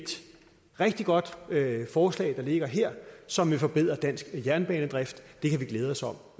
rigtig godt forslag der ligger her som vil forbedre dansk jernbanedrift det kan vi glæde os over